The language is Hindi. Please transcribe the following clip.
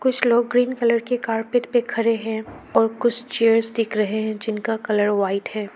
कुछ लोग ग्रीन कलर के कारपेट के खड़े हैं और कुछ चेयर्स दिख रहे हैं जिनका कलर व्हाइट है।